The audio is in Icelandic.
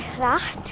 hratt